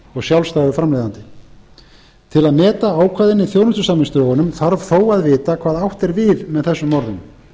og sjálfstæða framleiðendur til að meta ákvæðin í þjónustusamningsdrögunum þarf þó að vita hvað átt er við með þessum orðum